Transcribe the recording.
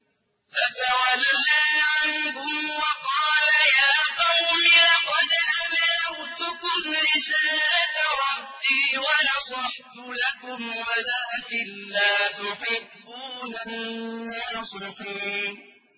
فَتَوَلَّىٰ عَنْهُمْ وَقَالَ يَا قَوْمِ لَقَدْ أَبْلَغْتُكُمْ رِسَالَةَ رَبِّي وَنَصَحْتُ لَكُمْ وَلَٰكِن لَّا تُحِبُّونَ النَّاصِحِينَ